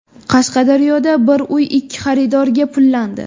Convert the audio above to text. Qashqadaryoda bir uy ikki xaridorga pullandi.